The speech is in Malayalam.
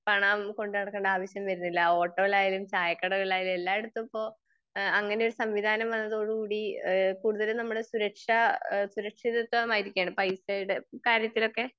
പണം കൊണ്ടുനടക്കണ്ട ആവശ്യം വരുന്നില്ല. ഓട്ടോയിലായാലും ചായക്കടയിലായാലും എല്ലായിടത്തും ഇപ്പൊ അങ്ങിനെ ഒരു സംവിധാനം വന്നതോടു കൂടി ഇഹ് കൂടുതലും നമ്മുടെ സുരക്ഷ സുരക്ഷിതത്വമായിരിക്കയാണ്. പൈസയുടെ കാര്യത്തിലൊക്കെ